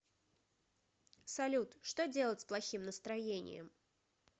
салют что делать с плохим настроением